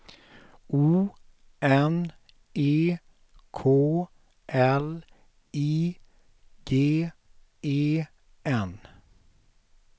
O N E K L I G E N